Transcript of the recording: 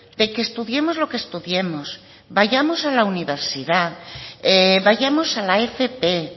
de que estudiemos lo que estudiemos vayamos a la universidad vayamos a la fp e